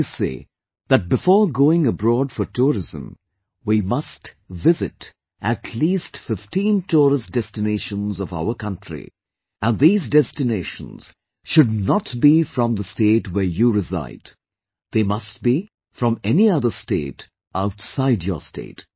I always say that before going abroad for tourism, we must visit at least 15 tourist destinations of our country and these destinations should not be from the state where you reside...they must be from any other state outside your state